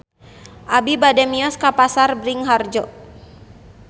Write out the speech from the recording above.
Abi bade mios ka Pasar Bringharjo